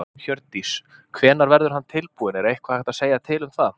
Hjördís: Hvenær verður hann tilbúinn, er eitthvað hægt að segja til um það?